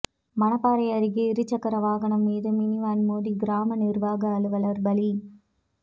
மணப்பாறை அருகே இருச்சக்கரவாகனம் மீது மினி வேன் மோதி கிராம நிர்வாக அலுவலர் பலி